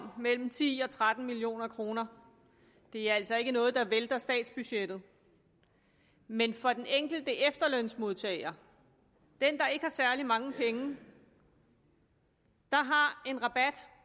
om mellem ti og tretten million kroner det er altså ikke noget der vælter statsbudgettet men for den enkelte efterlønsmodtager den der ikke har særlig mange penge har en rabat